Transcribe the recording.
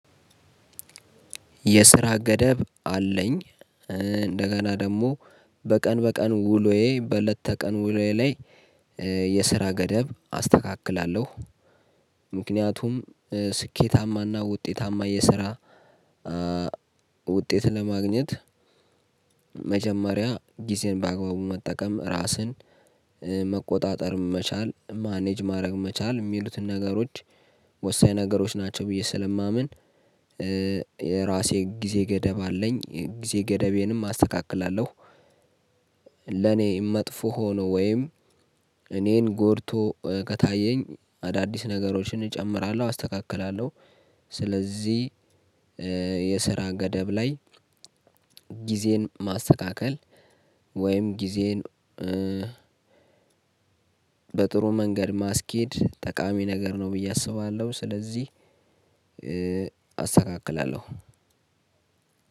የስራ ገደብ አለኝ። እንደገና ደግሞ በቀን በቀን ውሎዬ በእለት ተቀን ውሎዬ ላይ የስራ ገደብ አስተካክላለሁ። ምክንያቱም ስኬታማና ውጤታማ የስራ ውጤት ለማግኘት መጀመሪያ ጊዜን በአግባቡ መጠቀም፣ ራስን መቆጣጠር መቻል፣ ማኔጅ ማድረግ መቻል የሚሉትን ነገሮች ወሳኝ ነገሮች ናቸው ብዬ ስለማምን ራሴ ጊዜ ገደብ አለኝ። ጊዜ ገደቤንም አስተካክላለሁ። ለኔ መጥፎ ሆኖ ወይም እኔን ጎድቶ ከታየኝ አዳዲስ ነገሮችን እጨምራለሁ፤ አስተካክላለሁ። ስለዚህ የስራ ገደብ ላይ ጊዜን ማስተካከል ወይም ጊዜን በጥሩ መንገድ ማስኬድ ጠቃሚ ነገር ነው ብዬ አስባለሁ። ስለዚህ አስተካክላለሁ።